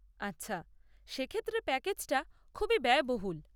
আচ্ছা, সেক্ষেত্রে প্যাকেজটা খুবই ব্যয়বহুল।